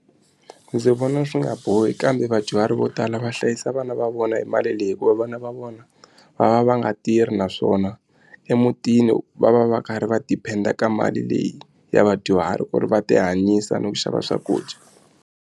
Ndzi vona swi nga bohi kambe vadyuhari vo tala va hlayisa vana va vona hi mali leyi hikuva vana va vona va va va nga tirhi naswona emutini va va va karhi va depend-a ka mali leyi ya vadyuhari ku ri va tihanyisa no xava swakudya.